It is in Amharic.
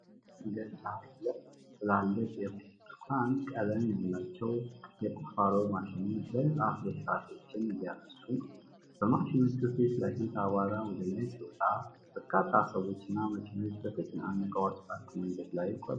በከተማ መንገድ ዳር ሁለት ትላልቅ የብርቱካን ቀለም ያላቸው የቁፋሮ ማሽኖች የህንጻ ፍርስራሾችን እያነሱ ነው። በማሽኖቹ ፊት ለፊት አቧራ ወደ ላይ ሲወጣ፣ በርካታ ሰዎች እና መኪኖች በተጨናነቀው አስፋልት መንገድ ላይ ይጓዛሉ።